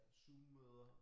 Zoommøder